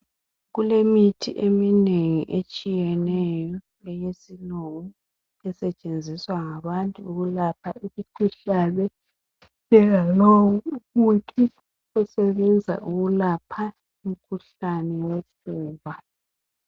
Kulemithi eminengi etshiyeneyo eyesilungu esetshenziswa ngabantu ukulapha imikhuhlane njengalowu umuthi osebenza ukulapha umkhuhlane wofuba.